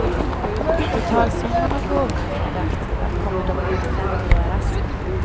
Totalsumman av gåvorna från de aktiva kommer dock att offentliggöras.